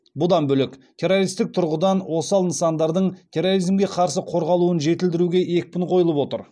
бұдан бөлек террористік тұрғыдан осал нысандардың терроризмге қарсы қорғалуын жетілдіруге екпін қойылып отыр